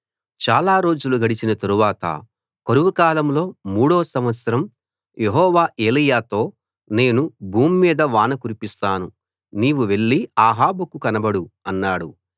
చాలా రోజులు గడిచిన తరువాత కరువు కాలంలో మూడో సంవత్సరం యెహోవా ఏలీయాతో నేను భూమ్మీద వాన కురిపిస్తాను నీవు వెళ్లి అహాబుకు కనబడు అన్నాడు